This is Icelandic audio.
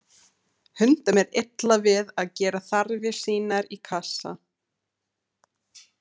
Hundum er illa við að gera þarfir sínar í kassa.